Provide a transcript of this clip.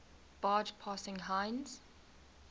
barge passing heinz